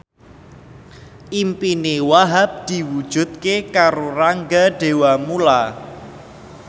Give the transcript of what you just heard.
impine Wahhab diwujudke karo Rangga Dewamoela